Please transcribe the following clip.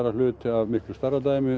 hluti af miklu stærra dæmi